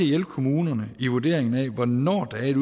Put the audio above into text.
hjælpe kommunerne i vurderingen af hvornår der er et